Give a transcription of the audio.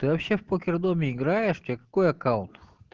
ты вообще в покер доме играешь у тебя какой аккаунт